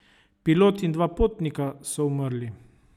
Pilot in dva potnika so umrli.